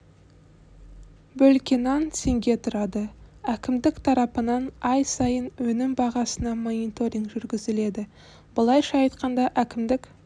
бөлке нан теңге тұрады әкімдік тарапынан ай сайын өнім бағасына мониторинг жүргізіледі былайша айтқанда әкімдік